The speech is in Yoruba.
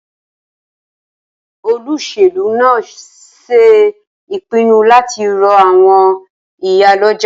Olóṣèlú náà ṣe ìpinnu láti ro àwọn ìyálọ́jà